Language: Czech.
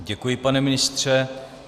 Děkuji, pane ministře.